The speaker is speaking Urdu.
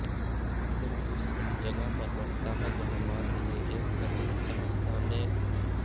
وہ اس جگہ پر بڑھتا ہے جہاں ماضی میں ایک قدیم تہھانے تھا